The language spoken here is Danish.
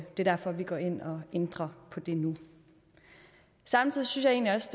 er derfor vi går ind og ændrer på det nu samtidig synes